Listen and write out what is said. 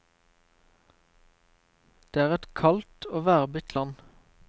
Det er et kaldt og værbitt land.